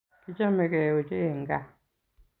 Kichamegei ochei eng kaa